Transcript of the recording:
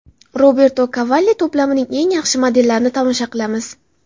Roberto Cavalli to‘plamining eng yaxshi modellarini tomosha qilamiz.